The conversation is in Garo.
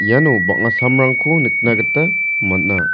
iano bang·a samrangko nikna gita man·a.